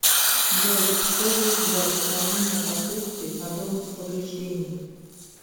джой что есть для устранения последствий подобных повреждений